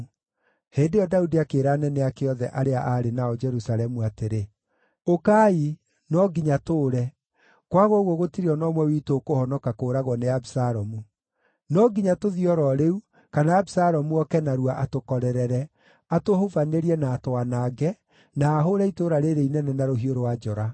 Hĩndĩ ĩyo Daudi akĩĩra anene ake othe arĩa aarĩ nao Jerusalemu atĩrĩ, “Ũkai! No nginya tũũre; kwaga ũguo gũtirĩ o na ũmwe witũ ũkũhonoka kũũragwo nĩ Abisalomu. No nginya tũthiĩ o ro rĩu, kana Abisalomu oke narua atũkorerere, atũhubanĩrie na atwanange, na ahũũre itũũra rĩĩrĩ inene na rũhiũ rwa njora.”